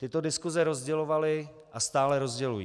Tyto diskuse rozdělovaly a stále rozdělují.